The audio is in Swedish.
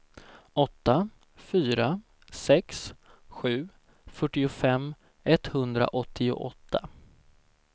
åtta fyra sex sju fyrtiofem etthundraåttioåtta